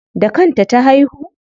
Da kan ta ta haihu?